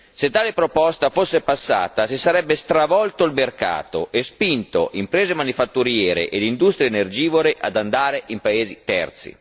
2 Se tale proposta fosse passata si sarebbe stravolto il mercato e spinto imprese manifatturiere e industrie energivore ad andare in paesi terzi.